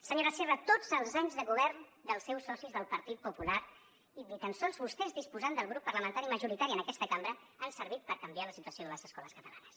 senyora sierra tots els anys de govern dels seus socis del partit popular i ni tan sols vostès disposant del grup parlamentari majoritari en aquesta cambra han servit per canviar la situació de les escoles catalanes